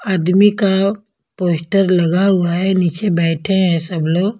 आदमी का पोस्टर लगा हुआ है नीचे बैठे हैं सब लोग।